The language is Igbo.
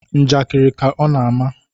Njakiri ka ọ na-ama